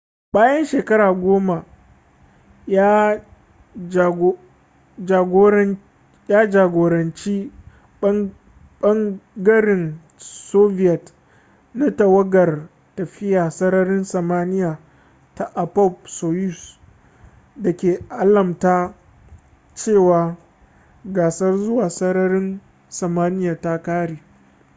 bayan shekaru goma ya jagoranci ɓangaren soviet na tawagar tafiya sararin samaniya ta appop-soyuz da ke alamta cewa gasar zuwa sararin samaniya ta ƙare